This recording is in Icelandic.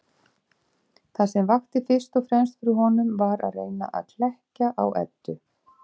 Það sem vakti fyrst og fremst fyrir honum var að reyna að klekkja á Eddu.